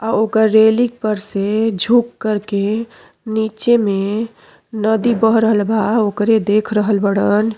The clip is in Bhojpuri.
आओ आकर के रेलिंग पर से झुक कर के नीचे में नदी बह रहला बा ओकरे देख रहल बाड़न।